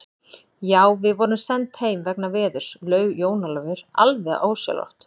Já, við vorum send heim vegna veðurs, laug Jón Ólafur alveg ósjálfrátt.